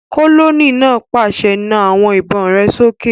Kólóníẹ̀ náà pàṣẹ, "Na àwọn ìbọn rẹ sókè!"